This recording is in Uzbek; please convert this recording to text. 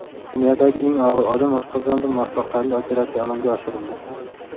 Dunyodagi eng og‘ir odam oshqozonida muvaffaqiyatli operatsiya amalga oshirildi.